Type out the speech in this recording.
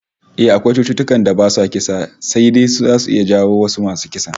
Eh, akwai cututtukan da basu kisa sai dai zasu iya jawo wasu masu kisar